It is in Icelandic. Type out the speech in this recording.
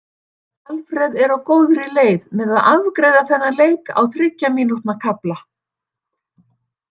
Alfreð er á góðri leið með að afgreiða þennan leik á þriggja mínútna kafla.